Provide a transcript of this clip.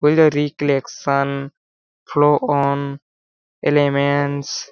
recollection flow on elements --